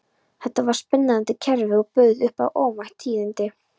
Þetta var spennandi kerfi og bauð upp á óvænt tíðindi.